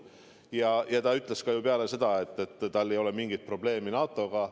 Mihhail Korb ütles ju pärast ka seda, et tal ei ole mingit probleemi NATO-ga.